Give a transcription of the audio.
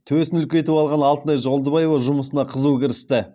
төсін үлкейтіп алған алтынай жолдыбаева жұмысына қызу кірісті